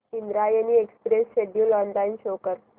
Indrayani express schedule online show कर